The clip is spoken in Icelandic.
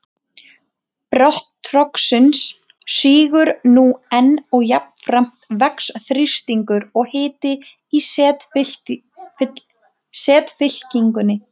Botn trogsins sígur nú enn og jafnframt vex þrýstingur og hiti í setfyllingunni.